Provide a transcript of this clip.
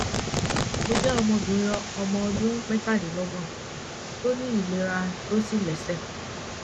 mo jẹ obìnrin ọmọ ọdún metalelogbon tó ní ìlera tó sì lẹsẹ